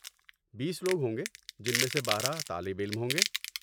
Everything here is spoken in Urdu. بیس لوگ ہوں گے جن میں سے بارہ طالب علم ہوں گے۔